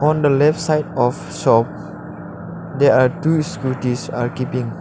in the left side of shop they are two scooties are keeping